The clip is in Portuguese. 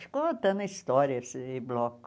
Ficou até na história esse bloco.